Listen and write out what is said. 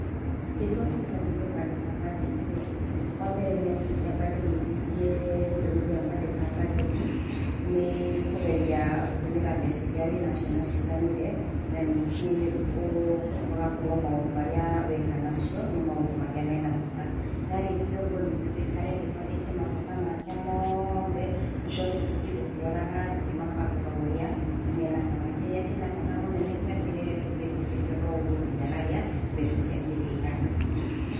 Ngĩtua kũruta mũndũ kwandĩka mbajeti rĩ, wa mbere nĩ atĩ ingĩamba ndĩmũiguthie gĩtũmi gĩa kũandĩka mbajeti, nĩ kũgeria gũtũmĩra mbeca iria wĩna nacio na ciiganire, na ningĩ ũgakorwo maũndũ marĩa weka na cio nĩ maũndũ marĩa mena bata. Ndarĩkia ũguo ningĩ tuikare thĩ tũandĩke mabata make mothe. Tũcoke tũthiĩ tũkĩroraga tũkĩmabangaga o ũrĩ mena bata. Kĩrĩa kĩna bata mũnene, kĩambĩrĩre tũthiĩ tũthiĩte oro ũguo nginya harĩa mbeca ciake ĩrĩ igana.